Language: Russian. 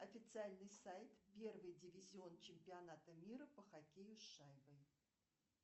официальный сайт первый дивизион чемпионата мира по хоккею с шайбой